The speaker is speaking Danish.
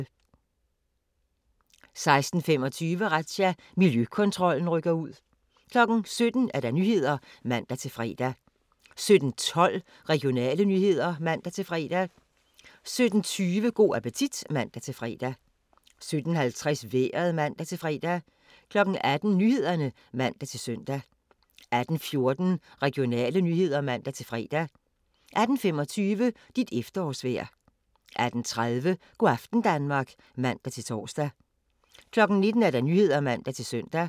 16:25: Razzia – Miljøkontrollen rykker ud 17:00: Nyhederne (man-fre) 17:12: Regionale nyheder (man-fre) 17:20: Go' appetit (man-fre) 17:50: Vejret (man-fre) 18:00: Nyhederne (man-søn) 18:14: Regionale nyheder (man-fre) 18:25: Dit efterårsvejr 18:30: Go' aften Danmark (man-tor) 19:00: Nyhederne (man-søn)